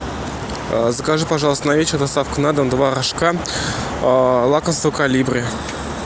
закажи пожалуйста на вечер доставку на дом два рожка лакомство колибри